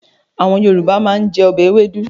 Àwọn Yorùbá máa ń jẹ ọbẹ̀ ewédú.